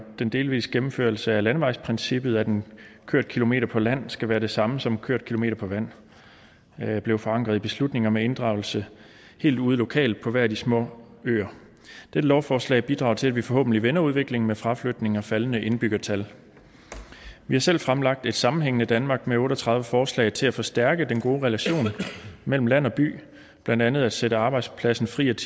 den delvise gennemførelse af landevejsprincippet at en kørt kilometer på land skal være det samme som en kørt kilometer på vand blev forankret i beslutninger med inddragelse helt ude lokalt på hver af de små øer dette lovforslag bidrager til at vi forhåbentlig vender udviklingen med fraflytning og faldende indbyggertal vi har selv fremlagt programmet et sammenhængende danmark med otte og tredive forslag til at forstærke den gode relation mellem land og by blandt andet at sætte arbejdspladsen fri af